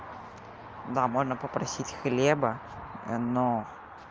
да можно попросить хлеба но